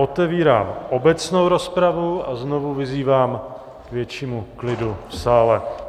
Otevírám obecnou rozpravu a znovu vyzývám k většímu klidu v sále.